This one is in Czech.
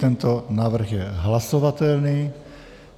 Tento návrh je hlasovatelný.